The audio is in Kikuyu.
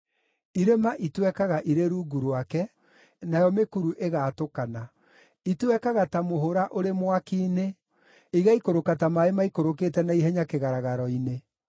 Irĩma itwekaga irĩ rungu rwake, nayo mĩkuru ĩgaatũkana; itwekaga ta mũhũra ũrĩ mwaki-inĩ, igaikũrũka ta maaĩ maikũrũkĩte na ihenya kĩgaragaro-inĩ.